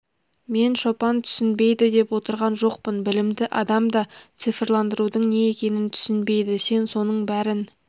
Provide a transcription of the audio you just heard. мен шопан түсінбейді деп отырған жоқпын білімді адам да цифрландырудың не екенін түсінбейді сен соның бәрін